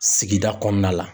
Sigida kɔnɔna la.